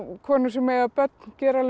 konur sem eiga börn gera alveg